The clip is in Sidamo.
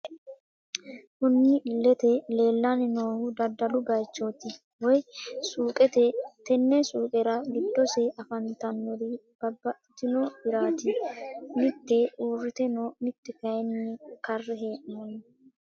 Kunni illete leelani noohu daddalu bayiichoti woyi suuqete tene suuqerra giddose afantannori babaxitino hirrati mitte uurite no mitte kayiini karre heenonni.